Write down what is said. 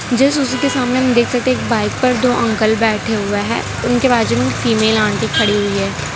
Just उसी के सामने हम देख सकते हैं एक बाइक पर दो अंकल बैठे हुए हैं उनके बाजू में फीमेल आंटी खड़ी हुई है।